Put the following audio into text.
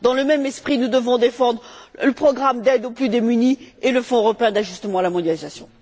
Dans le même esprit, nous devons défendre le programme d'aide aux plus démunis et le Fonds européen d'ajustement à la mondialisation.